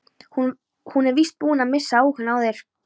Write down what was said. Hún er víst búin að missa áhugann á þér.